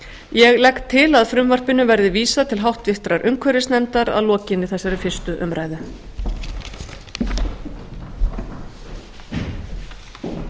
ég legg til að frumvarpinu verði vísað til háttvirtrar umhverfisnefndar að lokinni þessari fyrstu umræðu